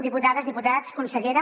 diputades diputats consellera